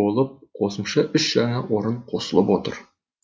болып қосымша үш жаңа орын қосылып отыр